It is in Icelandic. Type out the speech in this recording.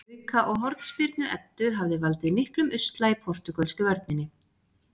Auka- og hornspyrnu Eddu hafa valdið miklum usla í portúgölsku vörninni.